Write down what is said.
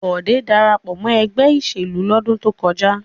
Bọ̀dé dára pọ̀ mọ́ ẹgbẹ́ ìṣèlú lọ́dún tó kọjá.